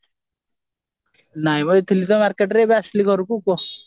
ନାଇଁ ବା ଥିଲି ତ marketରେ ଏବେ ଆସିଲି ଘରକୁ କୁହ